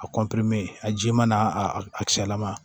A a jiman n'a a kisɛlama